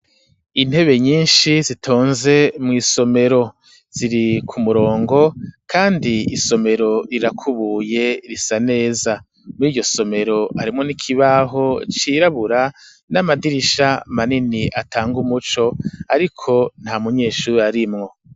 Intebe nyinshi zitonze mw'isomero, ziri ku murongo kandi isomero rirakubuye risa neza, muri iryo somero harimwo n'ikibaho cirabura, n'amadirisha manini atanga umuco, ariko nta munyeshure arimwo.